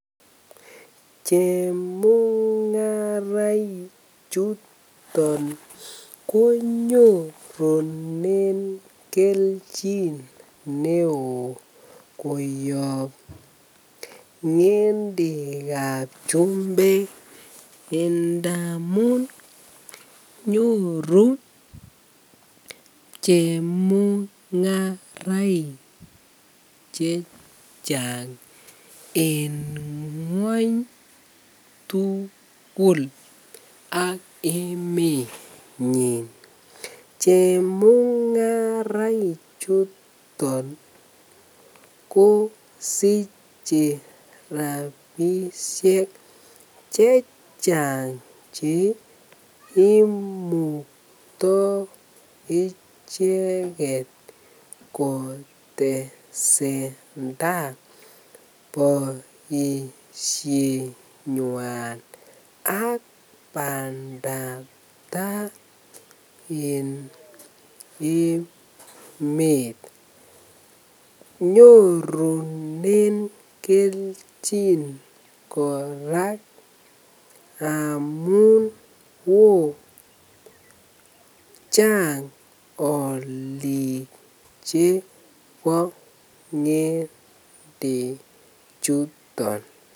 Chemungaraichuton konyorunen kelchin neoo koyob ngendekab chumbek indamun nyoru chemungaraik chechang en ngweny tukul ak emenyin chemungaraichuton kosiche rabishek chechang cheimukto icheket kotesenta boishenywan ak bandab taa en emet, nyorunen kelchin kora amun woo, chang olik chebo ngende chuton.